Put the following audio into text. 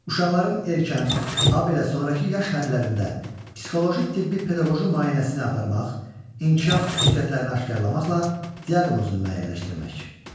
Uşaqların erkən, habelə sonrakı yaş hədlərində psixoloji, tibbi, pedaqoji müayinəsini aparmaq, inkişaf xüsusiyyətlərini aşkar etməklə diaqnozunu müəyyənləşdirmək.